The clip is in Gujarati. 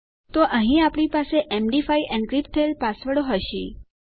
તો અહીં આપણી પાસે એમડી5 એનક્રિપ્ટ થયેલ પાસવર્ડો હશે